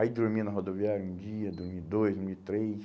Aí dormi na rodoviária um dia, dormi dois, dormi três.